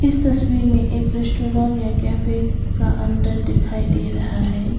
इस तस्वीर में एक रेस्टोरेन या कैफे का अंदर दिखाई दे रहा है।